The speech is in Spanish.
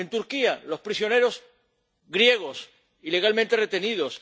En Turquía los prisioneros griegos, ilegalmente retenidos.